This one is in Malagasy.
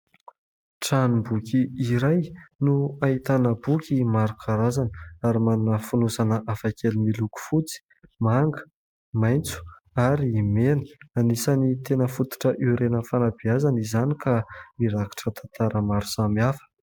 Tranomboky iray no ahitana boky maro karazana ary manana fonosana afakely miloko fotsy, manga, maintso ary mena. Anisan'ny tena fototra orenan'ny fanabeazana izany, ka mirakitra tantara maro samy hafa.